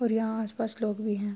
اور یہاں اس پاس لوگ بھی ہے۔